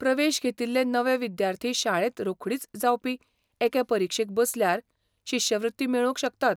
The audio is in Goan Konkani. प्रवेश घेतिल्ले नवे विद्यार्थी शाळेंत रोखडीच जावपी एके परीक्षेक बसल्यार शिश्यवृत्ती मेळोवंक शकतात.